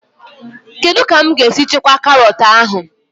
Kedụ ka mụ ga-esi chekwaa karọt ahụ?